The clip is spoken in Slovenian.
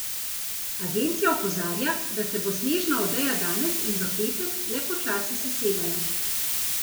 Agencija opozarja da se bo snežna odeja danes in v petek le počasi sesedala.